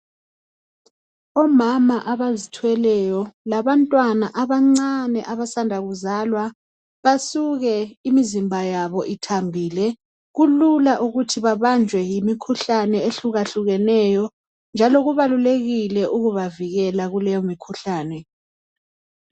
Omama abazithweleyo labantwana abancane abasanda kuzalwa basuke imizimba yabo ithambile kulula ukuthi babanjwe yimikhuhlane ehluka hlukeneyo njalo kubalulekile ukuba vikela kuleyo mikhuhlane.